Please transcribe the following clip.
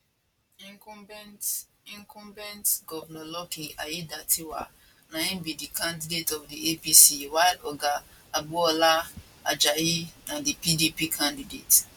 incumbent incumbent govnor lucky aiyedatiwa na im be di candidate of di apc while oga agboola ajayi na di pdp candidate